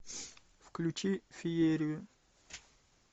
включи феерию